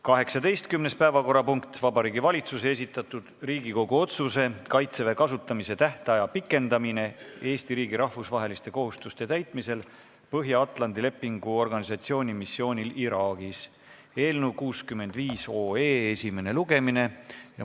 19. päevakorrapunkt on Vabariigi Valitsuse esitatud Riigikogu otsuse "Kaitseväe kasutamise tähtaja pikendamine Eesti riigi rahvusvaheliste kohustuste täitmisel Põhja-Atlandi Lepingu Organisatsiooni missioonil Iraagis" eelnõu 65 esimene lugemine.